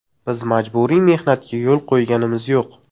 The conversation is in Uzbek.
Biz majburiy mehnatga yo‘l qo‘yganimiz yo‘q.